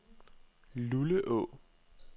Luleå